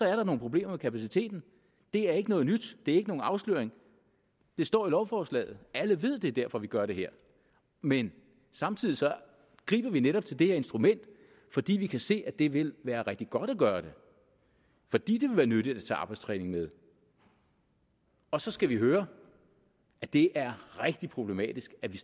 er nogle problemer med kapaciteten det er ikke noget nyt det er ikke nogen afsløring det står i lovforslaget alle ved at det er derfor vi gør det her men samtidig griber vi netop til det her instrument fordi vi kan se at det vil være rigtig godt at gøre det fordi det vil være nyttigt at tage arbejdstræning med og så skal vi høre at det er rigtig problematisk at vi